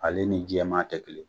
Ale ni Jɛman tɛ kelen ye.